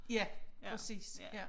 Ja præcis ja